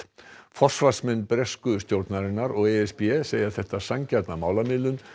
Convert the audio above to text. forsvarsmenn bresku stjórnarinnar og e s b segja þetta sanngjarna málamiðlun